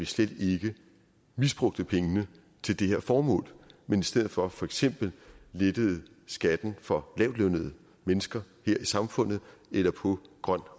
slet ikke misbrugte pengene til det her formål men i stedet for for eksempel lettede skatten for lavtlønnede mennesker her i samfundet eller på grøn